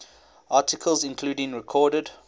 articles including recorded